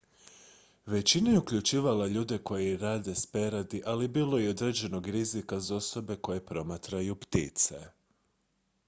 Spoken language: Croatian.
većina je uključivala ljude koji rade s peradi ali bilo je i određenog rizika za osobe koje promatraju ptice